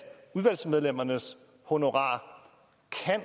udvalgsmedlemmernes honorar